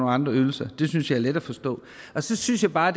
andre ydelser det synes jeg er let at forstå så synes jeg bare